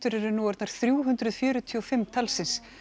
eru nú orðnar þrjú hundruð fjörutíu og fimm talsins